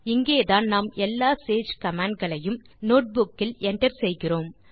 இங்கேதான் நாம் எல்லா சேஜ் கமாண்ட் களையும் நோட்புக் இல் enter செய்கிறோம்